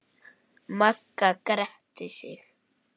Magga gretti sig.